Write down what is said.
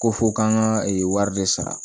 Ko fo k'an ka wari de sara